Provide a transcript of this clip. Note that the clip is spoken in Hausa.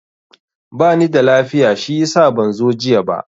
Ba nida lafiya shiyasa ban zo jiya ba.